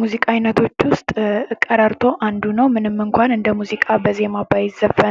ሙዚቃ: የድምጾች ስብስብ በጊዜና በስምምነት ተጣምሮ ስሜትን የሚገልጽ፣ አእምሮን የሚያነቃቃና የልብን ትርታ